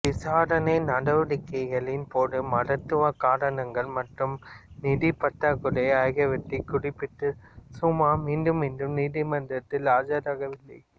விசாரணை நடவடிக்கைகளின் போது மருத்துவ காரணங்கள் மற்றும் நிதி பற்றாக்குறை ஆகியவற்றைக் குறிப்பிட்டு சூமா மீண்டும் மீண்டும் நீதிமன்றத்தில் ஆஜராகவில்லை